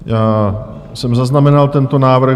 Já jsem zaznamenal tento návrh.